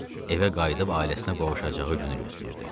Evə qayıdıb ailəsinə qovuşacağı günü gözləyirdi.